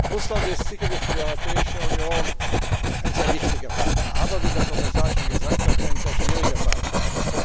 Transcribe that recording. Russland ist sicherlich für die Europäische Union ein sehr wichtiger Partner, aber wie der Kommissar schon gesagt hat ein sehr schwieriger Partner.